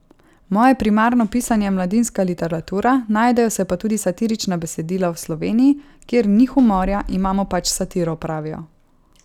Moje primarno pisanje je mladinska literatura, najdejo se pa tudi satirična besedila, v Sloveniji, kjer ni humorja, imamo pač satiro, pravijo.